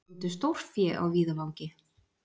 Fundu stórfé á víðavangi